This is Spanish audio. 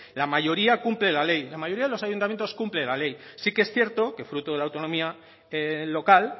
la mayoría cumple la ley la mayoría de los ayuntamientos cumple la ley sí que es cierto que fruto de la autonomía local